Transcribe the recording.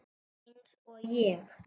Eins og ég?